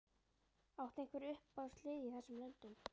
Áttu einhver uppáhaldslið í þessum löndum?